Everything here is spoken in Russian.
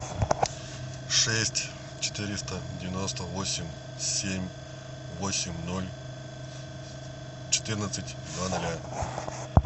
шесть четыреста девяносто восемь семь восемь ноль четырнадцать два ноля